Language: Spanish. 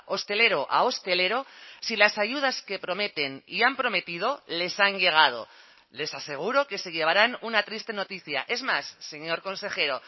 hostelero a hostelero si las ayudas que prometen y han prometido les han llegado les aseguro que se llevarán una triste noticia es más señor consejero